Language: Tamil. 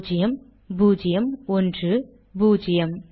பூஜ்யம் பூஜ்யம் ஒன்று பூஜ்யம்